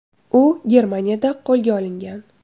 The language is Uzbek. U Germaniyada qo‘lga olingan.